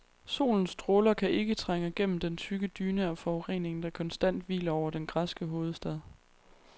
Solens stråler kan ikke trænge gennem den tykke dyne af forurening, der konstant hviler over den græske hovedstad.